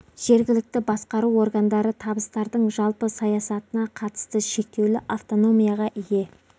жергілікті басқару органдары табыстардың жалпы саясатына қатысты шектеулі автономияға ие